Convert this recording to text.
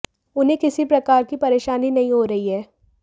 उन्हें किसी प्रकार की परेशानी नहीं हो रही है